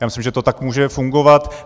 Já myslím, že to tak může fungovat.